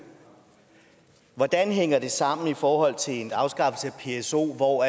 hvordan hænger det sammen i forhold til en afskaffelse af pso hvor